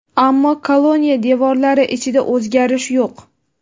ammo koloniya devorlari ichida o‘zgarish yo‘q.